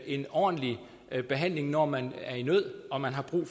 en ordentlig behandling når man er i nød og man har brug